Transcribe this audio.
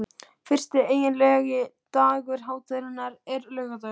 Fyrsti eiginlegi dagur hátíðarinnar er laugardagur.